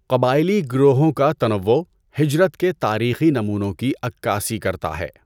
قبائلی گروہوں کا تنوع ہجرت کے تاریخی نمونوں کی عکاسی کرتا ہے۔